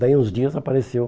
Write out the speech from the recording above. Daí, uns dias, apareceu.